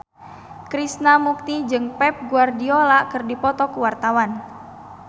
Krishna Mukti jeung Pep Guardiola keur dipoto ku wartawan